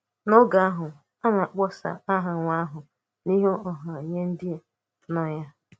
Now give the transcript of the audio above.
N’ógè ahụ, a na-akpọsa aha nwa ahụ n’ìhù ọha n’ìhù ọha nye ndị nọ ya.